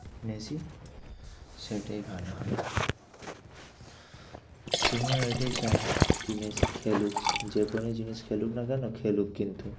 Messi সেটাই ভালো হয় তুমিও এটাই কি মেসি খেলুক। যে কোনো জিনিস খেলুক না কেন খেলুক কিন্তু।